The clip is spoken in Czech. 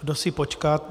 Kdo si počká...